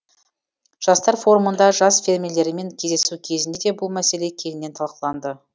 жастар форумында жас фермерлермен кездесу кезінде де бұл мәселе кеңінен талқыланды